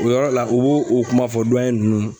O yɔrɔ la, u b'o o kuma fɔ nunnu.